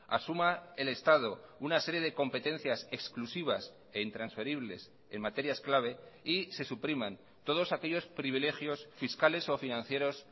asuma el estado una serie de competencias exclusivas e intransferibles en materias clave y se supriman todos aquellos privilegios fiscales o financieros